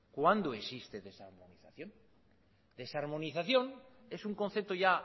cuándo existe desarmonización desarmonización es un concepto ya